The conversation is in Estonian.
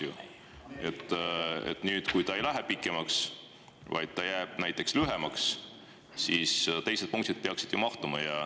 Kui ta nüüd ei lähe pikemaks, vaid jääb näiteks lühemaks, siis teised punktid peaksid ju ära mahtuma.